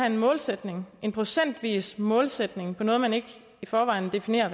en målsætning en procentvis målsætning på noget man ikke i forvejen definerer